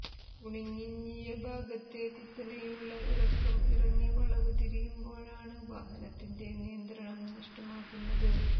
കുണിഞ്ഞിയ ഭാഗത്തെ കുത്തനെയുള്ള ഇറക്കം ഇറങ്ങി വളവ് തിരിയുമ്പോഴാണ് വാഹനത്തിന്റെ നിയന്ത്രണം നഷ്ടമാകുന്നത്